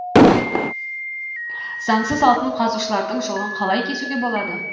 заңсыз алтын қазушылардың жолын қалай кесуге болады